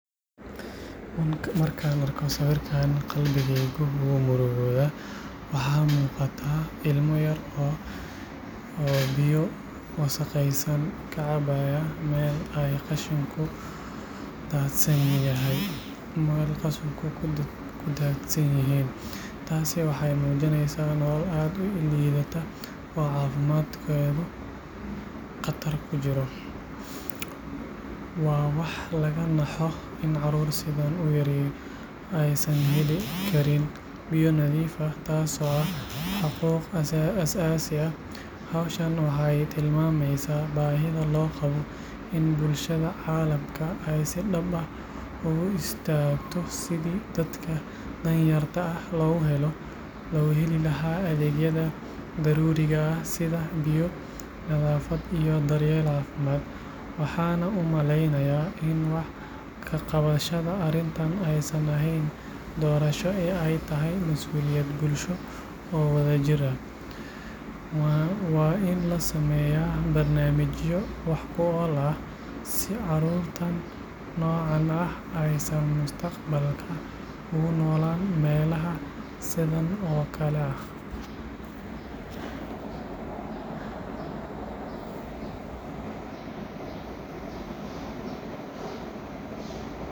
Markaan arko sawirkan, qalbigayga wuu murugoodaa. Waxaa muuqata ilmo yar oo biyo wasakhaysan ka cabaya meel ay qashinku daadsan yihiin. Taasi waxay muujinaysaa nolol aad u liidata oo caafimaadkeedu khatar ku jiro. Waa wax laga naxo in caruur sidaan u yar aysan heli karin biyo nadiif ah, taasoo ah xuquuq aasaasi ah. Hawshan waxay tilmaamaysaa baahida loo qabo in bulshada caalamka ay si dhab ah ugu istaagto sidii dadka danyarta ah loogu heli lahaa adeegyada daruuriga ah sida biyo, nadaafad, iyo daryeel caafimaad. Waxaan u malaynayaa in wax-ka-qabashada arrintan aysan ahayn doorasho ee ay tahay mas’uuliyad bulsho oo wada jir ah. Waa in la sameeyaa barnaamijyo wax ku ool ah si caruurta noocan ah aysan mustaqbalka ugu noolaan meelaha sidan oo kale ah.